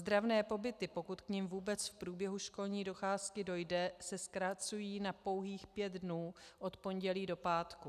Ozdravné pobyty, pokud k nim vůbec v průběhu školní docházky dojde, se zkracují na pouhých pět dnů od pondělí do pátku.